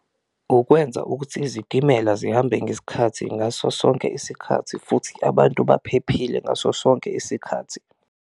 Ukwenza ukuthi izitimela zihambe ngesikhathi ngaso sonke isikhathi futhi abantu baphephile ngaso sonke isikhathi.